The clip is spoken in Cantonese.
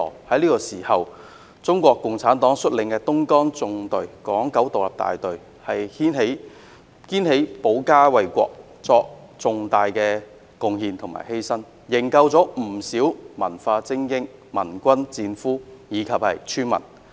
在這個時候，中國共產黨率領的東江縱隊港九獨立大隊肩負起保家衞國的責任，作出重大貢獻和犧牲，營救不少文化精英、盟軍戰俘和村民。